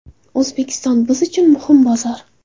O‘zbekiston – biz uchun muhim bozor.